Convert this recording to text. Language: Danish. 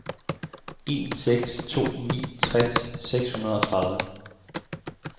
en seks to ni tres seks hundrede og tredive